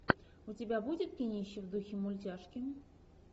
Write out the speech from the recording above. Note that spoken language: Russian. у тебя будет кинище в духе мультяшки